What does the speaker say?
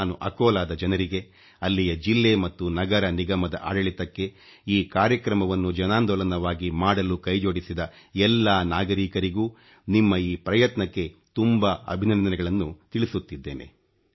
ನಾನು ಅಕೋಲಾದ ಜನರಿಗೆ ಅಲ್ಲಿಯ ಜಿಲ್ಲೆ ಮತ್ತು ನಗರನಿಗಮದ ಆಡಳಿತಕ್ಕೆ ಈ ಕಾರ್ಯಕ್ರಮವನ್ನು ಜನಾಂದೋಲನವನ್ನಾಗಿ ಮಾಡಲು ಕೈಜೋಡಿಸಿದ ಎಲ್ಲಾ ನಾಗರೀಕರಿಗೂ ನಿಮ್ಮ ಈ ಪ್ರಯತ್ನಕ್ಕೆ ತುಂಬಾ ಅಭಿನಂದನೆಗಳನ್ನು ತಿಳಿಸುತ್ತಿದ್ದೇನೆ